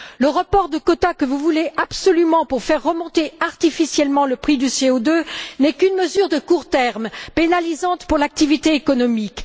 Le report de quotas que vous voulez absolument pour faire remonter artificiellement le prix du CO2 n'est qu'une mesure de court terme, pénalisante pour l'activité économique.